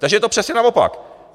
Takže je to přesně naopak.